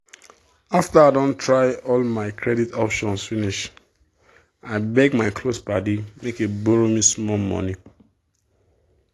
after i don try all my credit options finish i beg my close padi make e borrow me small money.